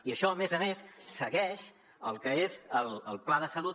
i això a més a més segueix el que és el pla de salut